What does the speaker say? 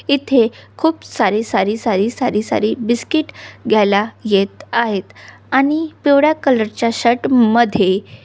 इथे खूप सारी सारी सारी सारी सारी बिस्किट घ्यायला येत आहेत आणि पिवळा कलर च्या शर्ट मध्ये --